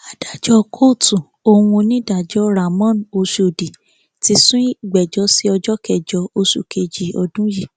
adájọ kóòtù ohun onídàájọ ramón ọshọdì ti sún ìgbẹjọ sí ọjọ kẹjọ oṣù kejì ọdún yìí